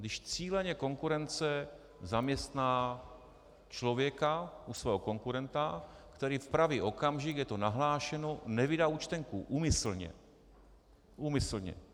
Když cíleně konkurence zaměstná člověka u svého konkurenta, který v pravý okamžik, je to nahlášeno, nevydá účtenku úmyslně - úmyslně.